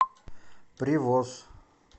привоз